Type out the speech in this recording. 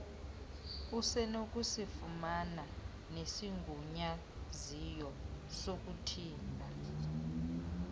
usenokusifumana nesigunyaziso sokuthimba